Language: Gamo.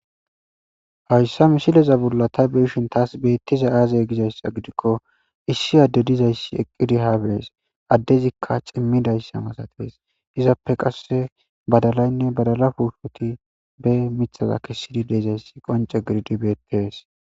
hayssa misileza bolla ta beshin taas beettiza aazay gizayssa gidikko issi adde dizayssi eqqidi haabees addezikka cimmidayssa masatees izappe qasse badalaynne badala pushoti be mithaza kessidi deezayssi qonce giddibeetees